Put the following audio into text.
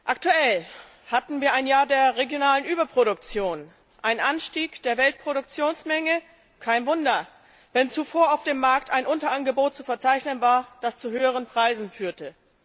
Aktuell hatten wir ein Jahr der regionalen Überproduktion, einen Anstieg der Weltproduktionsmenge kein Wunder, wenn zuvor auf dem Markt ein Unterangebot zu verzeichnen war, das zu höheren Preisen führte.